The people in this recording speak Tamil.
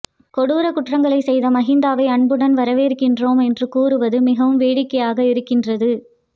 கொடூர குற்றங்களைச் செய்த மகிந்தாவை அன்புடன் வரவேற்கின்றோம் என்று கூறுவது மிகவும் வேடிக்கையாக இருக்கின்றது